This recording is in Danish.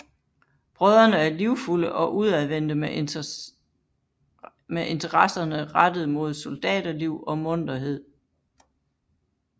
Brødrene er livfulde og udadvendte med interesserne rettet mod soldaterliv og munterhed